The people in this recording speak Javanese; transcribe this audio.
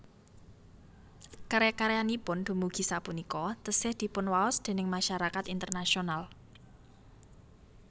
Karya karyanipun dumugi sapunika taksih dipunwaos déning masyarakat internasional